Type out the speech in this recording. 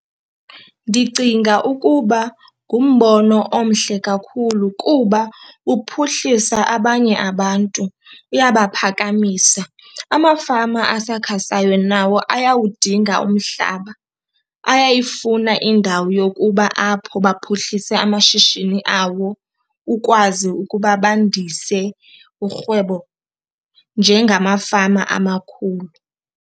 Ndicinga ukuba ngumbono omhle kakhulu kuba uphuhlisa abanye abantu, uyabaphakamisa. Amafama asakhasayo nawo ayawudinga umhlaba, ayayifuna indawo yokuba apho baphuhlise amashishini awo ukwazi ukuba bandise urhwebo njengamafama amakhulu.